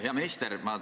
Hea minister!